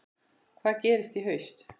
Hvað gerist í haust?